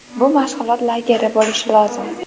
Bu mashg‘ulot lageri bo‘lishi lozim.